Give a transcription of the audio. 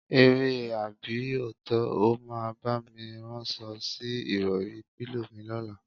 Eré àbí òótó̩? O máa bá mi ráns̩o̩ sí ìrò̩rí/pílò mi ló̩la?